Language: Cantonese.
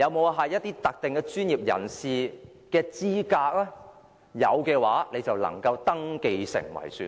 有否某些特定專業人士的資格？如有的話，便能登記成為選民。